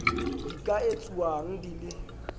di ka etsuwang di le